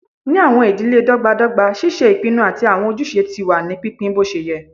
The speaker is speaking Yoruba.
Ni awọn idile dọgbadọgba, ṣíṣe ìpinnu àti awọn ojúṣe ti wà ní pínpín boṣeyẹ